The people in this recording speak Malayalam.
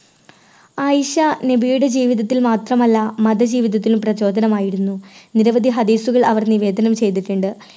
ആയിഷ, നബിയുടെ ജീവിതത്തിൽ മാത്രമല്ല മതജീവിതത്തിലും പ്രചോദനമായിരുന്നു നിരവധി ഹദീസുകൾ അവർ നിവേദനം ചെയ്തിട്ടുണ്ട്.